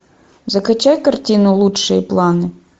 закачай картину лучшие планы